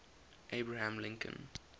abraham lincoln